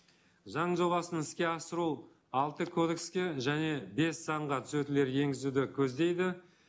заң жобасын іске асыру алты кодекске және бес заңға түзетулер енгізуді көздейді